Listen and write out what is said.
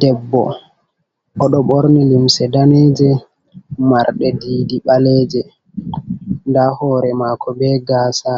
Debbo, o ɗo ɓorni limse daaneeje, marɗe diidi ɓaleeje, nda hoore maako be gaasa,